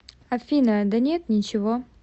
афина да нет ничего